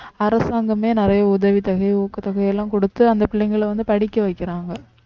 அரசாங்கமே நிறைய உதவித் தொகை ஊக்கத்தொகை எல்லாம் கொடுத்து அந்த பிள்ளைங்களை வந்து படிக்க வைக்கிறாங்க